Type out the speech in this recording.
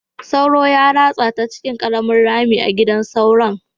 Sauro ya ratsa ta cikin ƙaramin rami a gidan sauron.